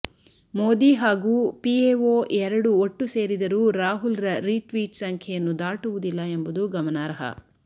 ಮೋದಿ ಹಾಗೂ ಪಿಎಒ ಎರಡು ಒಟ್ಟು ಸೇರಿದರೂ ರಾಹುಲ್ರ ರಿಟ್ವೀಟ್ ಸಂಖ್ಯೆಯನ್ನು ದಾಟುವುದಿಲ್ಲ ಎಂಬುದು ಗಮನಾರ್ಹ